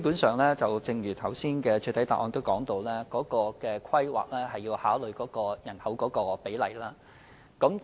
主席，正如我剛才在主體答覆指出，有關規劃基本上要考慮人口比例。